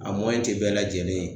A tɛ bɛɛ lajɛlen ye.